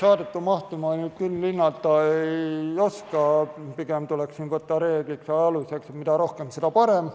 Saadete mahtu ma küll hinnata ei oska, pigem tuleks siin võtta reegliks ja aluseks, et mida rohkem, seda parem.